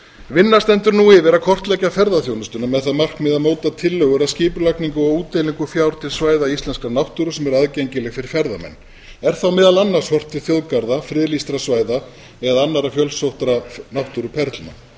vinna stendur nú yfir að kortleggja ferðaþjónustuna að það markmið að móta tillögur að skipulagningu og útdeilingu fjár til svæða íslenskrar náttúru sem er aðgengileg fyrir ferðamenn er þá meðal annars horft til þjóðgarða friðlýstra svæða eða annarra fjölsóttra náttúruperlna